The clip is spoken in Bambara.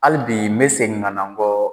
Hali bi mɛ segin ka na